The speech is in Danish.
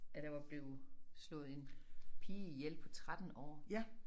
At der var blevet slået en pige ihjel på 13 år